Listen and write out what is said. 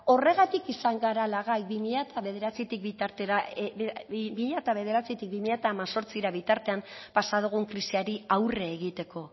horregatik izan garala gai bi mila bederatzitik bi mila hemezortzira bitartean pasa dugun krisiari aurre egiteko